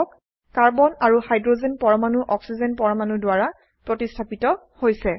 carbon আৰু hydrogen পৰমাণু oxygen পৰমাণু দ্বাৰা প্ৰতিস্থাপিত হৈছে